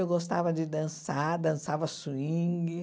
Eu gostava de dançar, dançava swing.